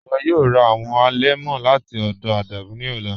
Iwọ yọọ rà awọn alẹmọ lati ọdọ Adamu ni ọlà.